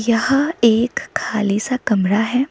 यहाँ एक खाली सा कमरा हैं।